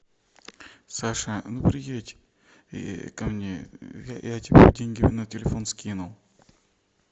саша ну приедь ко мне я тебе деньги на телефон скинул